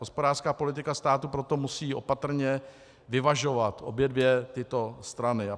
Hospodářská politika státu proto musí opatrně vyvažovat obě dvě tyto strany.